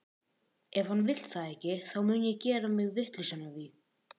Ef hann vill það ekki, þá mun ég ekki gera mig vitlausan af því.